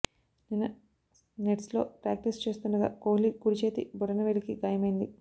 నిన్న నెట్స్లో ప్రాక్టీస్ చేస్తుండగా కోహ్లి కుడి చేతి బొటన వేలికి గాయమైంది